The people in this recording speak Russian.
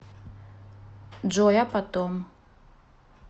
джой а потом